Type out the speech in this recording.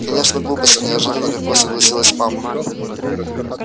конечно глупости неожиданно легко согласилась мама